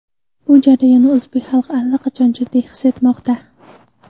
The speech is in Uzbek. Bu jarayonni o‘zbek xalqi allaqachon jiddiy his etmoqda.